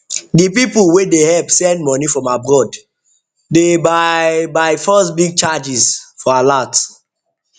the people wey dey help send money from abroad de by byforce big charges for alert